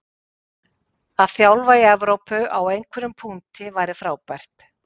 Að þjálfa í EVrópu á einhverjum punkti væri frábært.